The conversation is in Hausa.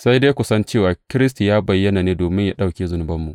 Sai dai kun san cewa Kiristi ya bayyana ne domin yă ɗauke zunubanmu.